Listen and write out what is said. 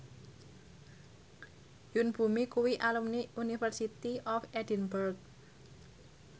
Yoon Bomi kuwi alumni University of Edinburgh